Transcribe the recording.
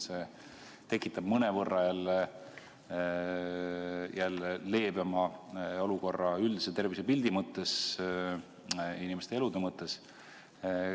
See tekitab mõnevõrra leebema olukorra üldise tervisepildi mõttes, inimeste elude mõttes.